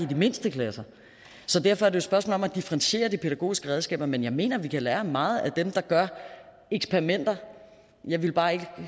de mindste klasser så derfor er det spørgsmål om at differentiere de pædagogiske redskaber men jeg mener at vi kan lære meget af dem der gør eksperimenter jeg vil bare ikke